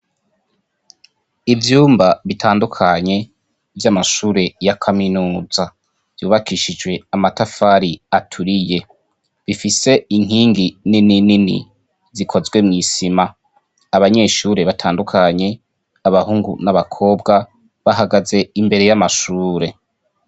Ivyumba bitandukanye vy'amashure ya kaminuza. Vyubakishijwe amatafari aturiye. Bifise inkingi ninini zikozwe mw'isima. Abanyeshure batandukanye, abahungu n'abakobwa, bahagaze imbere y'amashure.